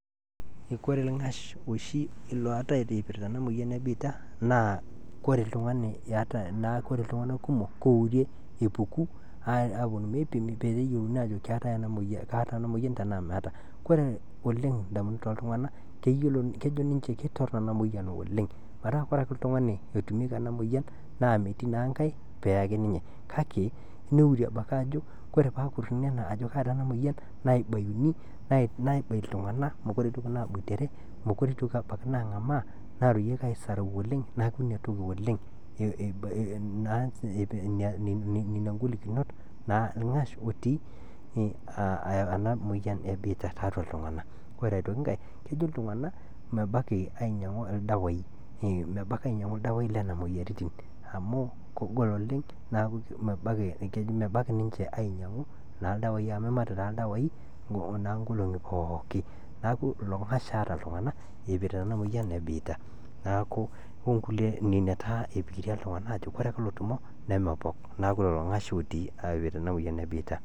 Koree ng'ash oshii oatae eipirta ena imoyian ebiitia naa kore ltungana kumok keurie epuku aapo meipimi peyie eyiolouni aajo kaata ena imoyian tenaa maata, kore oleng indamunot ooltungana kejo ninche ketorino ena moyian oleng metaa kore ake ltungani otumieki ena imoiyian naa metii na inkae peeii ake ninye kake neurie abaki ajo kore paakurini ajoo kaata ena imoyian naibaiyuni naibaii ltunganak, mekore eitoki naabuatere, mekore eitoki abaki naang'amaa naaroyieki aisarau oleng, naaku ina toki oleng naa nenia ingolikinot naa lng'ash otii ana imoiyian ebiita teatu ltungana, kore aitoki inkae kejo ltunganak mebaki ainyang'u irdawaaii le ina moyiarritin amuu kegol oleng naaku mebaki ninche ainyang'u naa irdawaii amu imat naa irdawaaii naa nkolongi pooki, naaku ilo ng'ash eeta ltungana eipirita ena moyian ebiita, naaku nenia taa eipikirianita ltungana aajo ore otumo nemepok, neaku lelo ng'ash otii aipirta ena moyian ebiita.